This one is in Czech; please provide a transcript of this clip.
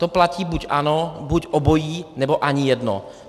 To platí buď ano, buď obojí, nebo ani jedno.